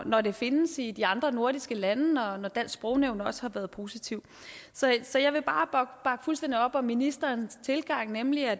når det findes i de andre nordiske lande og når dansk sprognævn også har været positiv så så jeg vil bare bakke fuldstændig op om ministerens tilgang nemlig at